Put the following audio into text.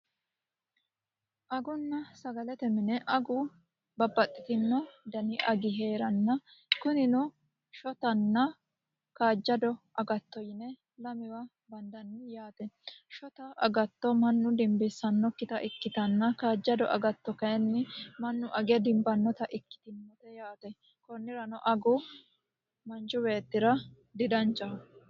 Agunna sagalete mine agu babaxitino agi heeranna kunnino shotanna kaajado agatto yine lamewa bandanni yaate shota agatto manna dinbisanokita ikitanna kaajado agatto kayinni manu age dinbanota ikitinote yaate konni daafira agu manchi beetira dadanchaho.